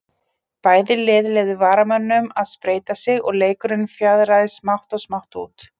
Bæði lið leyfðu varamönnum að spreyta sig og leikurinn fjaraði smátt og smátt út.